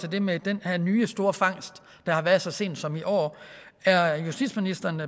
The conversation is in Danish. det med den her nye store fangst der har været så sent som i år er justitsministeren